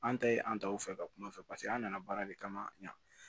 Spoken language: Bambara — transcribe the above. An ta ye an taw fɛ ka kuma u fɛ paseke an nana baara de kama yan